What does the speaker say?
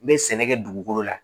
N bɛ sɛnɛ kɛ dugukolo la